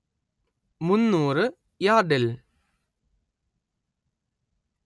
മുന്നൂറ്‌ യാർഡിൽ